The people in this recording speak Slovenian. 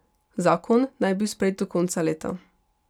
Zakon naj bi bil sprejet do konca leta.